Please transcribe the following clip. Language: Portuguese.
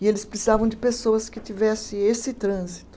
E eles precisavam de pessoas que tivessem esse trânsito.